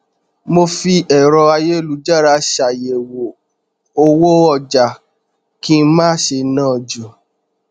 mo fi ẹrọ ayélujára ṣàyẹwò owó ọjà kí n má ṣe ná ju